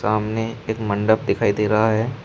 सामने एक मंडप दिखाई दे रहा है।